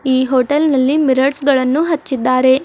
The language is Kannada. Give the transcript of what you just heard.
ಈ ಹೋಟೆಲ್ ನಲ್ಲಿ ಮಿರರ್ರ್ಸ್ ಗಳನ್ನು ಹಚ್ಚಿದ್ದಾರೆ.